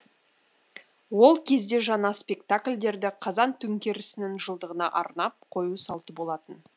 ол кезде жаңа спектакльдерді қазан төңкерісінің жылдығына арнап қою салты болатын